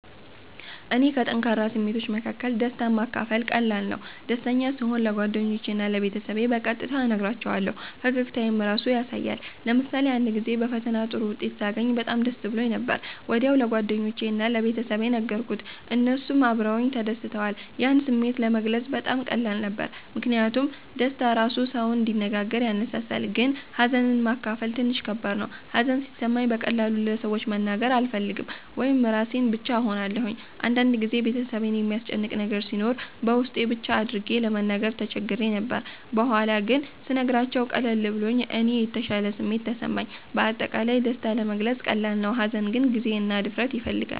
ለእኔ ከጠንካራ ስሜቶች መካከል ደስታን ማካፈል ቀላል ነው። ደስተኛ ስሆን ለጓደኞቼ እና ለቤተሰቤ በቀጥታ እነግራቸዋለሁ፣ ፈገግታዬም ራሱ ያሳያል። ለምሳሌ አንድ ጊዜ በፈተና ጥሩ ውጤት ሳገኝ በጣም ደስ ብሎኝ ነበር። ወዲያው ለጓደኞቼ እና ለቤተሰቤ ነገርኩት፣ እነሱም አብረውኝ ተደስተዋል። ያን ስሜት ለመግለጽ በጣም ቀላል ነበር ምክንያቱም ደስታ ራሱ ሰውን እንዲነጋገር ያነሳሳል። ግን ሀዘንን ማካፈል ትንሽ ከባድ ነው። ሀዘን ሲሰማኝ በቀላሉ ለሰዎች መናገር አልፈልግም ወይም ራሴን ብቻ እሆናለሁ። አንድ ጊዜ ቤተሰቤን የሚያስጨንቅ ነገር ሲኖር በውስጤ ብቻ አድርጌ ለመናገር ተቸግሬ ነበር። በኋላ ግን ስነግራቸው ቀለል ብሎኝ እና የተሻለ ስሜት ተሰማኝ። በአጠቃላይ ደስታ ለመግለጽ ቀላል ነው፣ ሀዘን ግን ጊዜ እና ድፍረት ይፈልጋል።